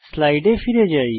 স্লাইডে ফিরে যাই